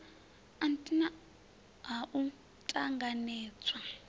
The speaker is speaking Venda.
nt ha u t anganedzwa